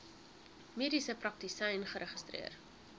mediese praktisyn geregistreer